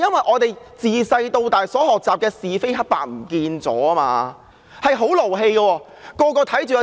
我們從小學習的是非黑白不見了，真的很氣人。